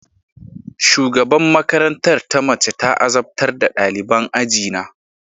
Shugaban makarantar ta mace ta azabtar da daliban ajina